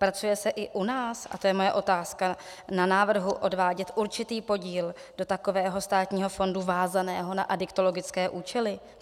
Pracuje se i u nás - a to je moje otázka - na návrhu odvádět určitý podíl do takového státního fondu váženého na adiktologické účely?